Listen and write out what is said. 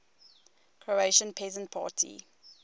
croatian peasant party